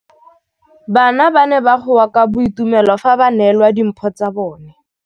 Bana ba ne ba goa ka boitumelo fa ba neelwa dimphô tsa bone.